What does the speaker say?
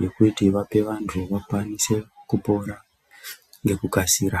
yekuti vape vantu, vakwanise kupora ngekukasira.